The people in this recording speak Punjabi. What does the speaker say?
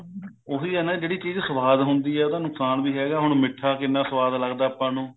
ਉਹੀ ਹੈ ਨਾ ਜਿਹੜੀ ਚੀਜ ਸਵਾਦ ਹੁੰਦੀ ਐ ਉਹਦਾ ਨੁਕਸਾਨ ਵੀ ਹੈਗਾ ਹੁਣ ਮਿੱਠਾ ਕਿੰਨਾ ਸਵਾਦ ਲੱਗਦਾ ਆਪਾਂ ਨੂੰ